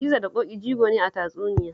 Gizo da Ƙoƙi jigo ne a tatsuniya